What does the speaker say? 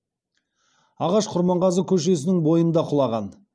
ағаш құрманғазы көшесінің бойында құлаған